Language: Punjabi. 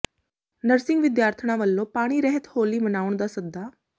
ਨਰਸਿੰਗ ਵਿਦਿਆਰਥਣਾਂ ਵੱਲੋਂ ਪਾਣੀ ਰਹਿਤ ਹੋਲੀ ਮਨਾਉਣ ਦਾ ਸੱਦਾ